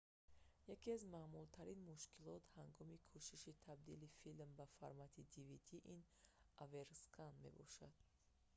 яке аз маъмултарин мушкилот ҳангоми кӯшиши табдили филм ба формати dvd ин оверскан мебошад